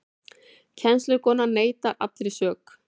Kennslukonan neitar allri sök